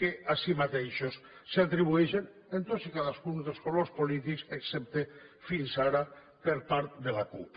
que a si mateixos s’atribueixen en tots i cadascun dels colors polítics excepte fins ara per part de la cup